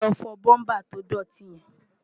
lọ fọ búmbà tó dọ̀tí yẹn!